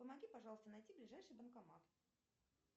помоги пожалуйста найти ближайший банкомат